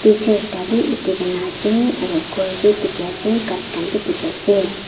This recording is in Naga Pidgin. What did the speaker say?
teacher ekta bi utikae na ase khor bi dikiase ghas khan bi dikiase.